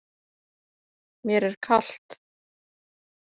Mér er kalt.